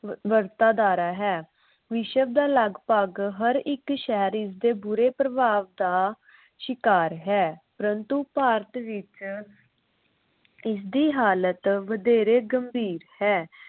ਵਰਤਾਦਾਰਾਂ ਹੈ। ਵਿਸ਼ਵ ਦਾ ਲਗਪਗ ਹਰ ਇਕ ਸ਼ਹਿਰ ਇਸ ਦੇ ਬੁਰੇ ਪ੍ਰਭਾਵ ਦਾ ਸ਼ਿਕਾਰ ਹੈ। ਪ੍ਰੰਤੂ ਭਾਰਤ ਵਿਚ ਇਸਦੀ ਹਾਲਤ ਵਧੇਰੇ ਗੰਭੀਰ ਹੈ।